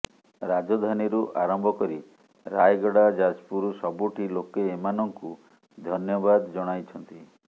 ରାଜଧାନୀରୁ ଆରମ୍ଭ କରି ରାୟଗଡ଼ା ଯାଜପୁର ସବୁଠି ଲୋକେ ଏମାନଙ୍କୁ ଧନ୍ୟବାଦ ଜଣାଇଛନ୍ତି